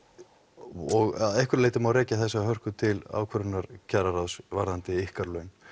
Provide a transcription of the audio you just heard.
og að einhverju leyti má rekja þessa hörku til ákvörðunar kjararáðs varðandi ykkar laun